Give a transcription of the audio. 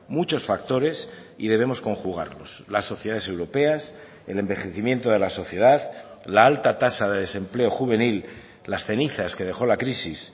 muchos factores y debemos conjugarlos las sociedades europeas el envejecimiento de la sociedad la alta tasa de desempleo juvenil las cenizas que dejó la crisis